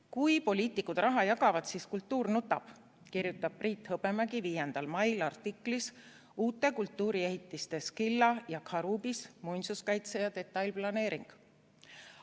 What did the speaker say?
"Kui poliitikud raha jagavad, siis kultuur nutab," kirjutas Priit Hõbemägi 5. mail artiklis "Uute kultuuriehitiste Skylla ja Charybdis – muinsuskaitse ja detailplaneering".